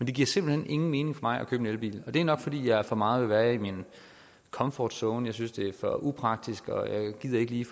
det giver simpelt hen ingen mening for mig at købe en elbil det er nok fordi jeg for meget vil være i min comfort zone jeg synes det er for upraktisk og jeg gider ikke lige